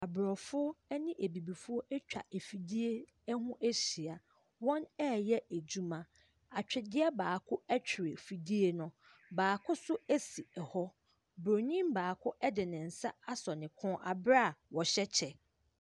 Aborɔfo ne abibifoɔ atwa afidie ho ahyia. Wɔreyɛ adwuma. Atwedeɛ baako twere afidie no. Baako nso si hɔ. Buroni baako de ne nsa asɔ ne kɔn berɛ a ɔhyɛ kyɛ.